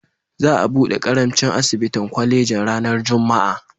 Za a buɗe ƙaramin asibitin kwalejin ranar Juma'a.